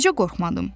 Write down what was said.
Necə qorxmadım?